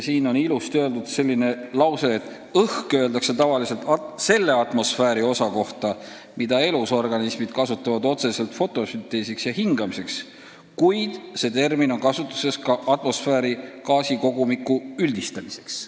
Ning veel on seal selline kena lause: ""Õhk" öeldakse tavaliselt selle atmosfääri osa kohta, mida elusorganismid kasutavad otseselt fotosünteesiks ja hingamiseks, kuid see termin on kasutuses ka atmosfääri gaasikogumiku üldistamiseks.